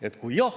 Teie aeg!